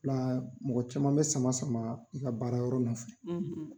O la mɔgɔ caman bɛ sama sama i ka baarayɔrɔ nɔfɛ